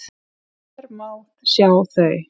Hér má sjá þau.